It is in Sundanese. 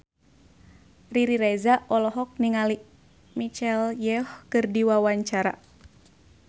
Riri Reza olohok ningali Michelle Yeoh keur diwawancara